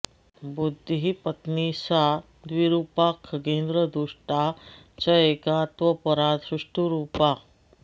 बुद्धिः पत्नी सा द्विरूपा खगेन्द्र दुष्टा चैका त्वपरा सुष्ठुरूपा